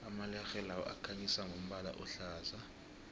amalerhe lawa akhanyisa ngombala ohlaza